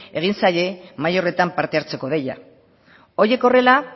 egin zaie mahai horretan parte hartzeko deia horiek horrela